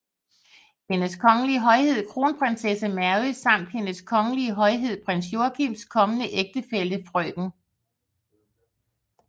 Hendes Kongelige Højhed Kronprinsesse Mary samt Hendes Kongelige Højhed Prins Joachims kommende ægtefælle frk